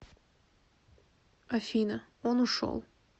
афина он ушел